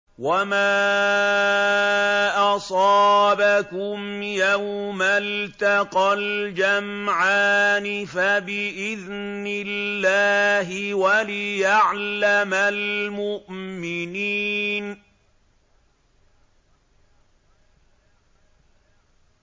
وَمَا أَصَابَكُمْ يَوْمَ الْتَقَى الْجَمْعَانِ فَبِإِذْنِ اللَّهِ وَلِيَعْلَمَ الْمُؤْمِنِينَ